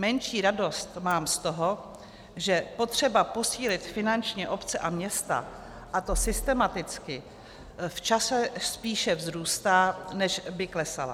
Menší radost mám z toho, že potřeba posílit finančně obce a města, a to systematicky, v čase spíše vzrůstá, než by klesala.